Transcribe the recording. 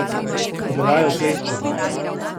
Bila je ukleščena.